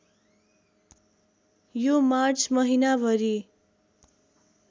यो मार्च महिनाभरि